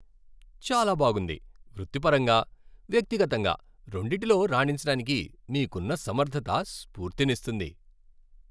చాలా బాగుంది. వృత్తిపరంగా, వ్యక్తిగతంగా రెండిటిలో రాణించటానికి మీకున్న సమర్ధత స్ఫూర్తినిస్తుంది.